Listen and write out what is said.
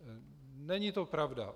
Není to pravda.